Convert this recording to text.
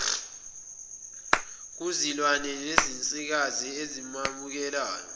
kuzilwane zensikazi ezamukelayo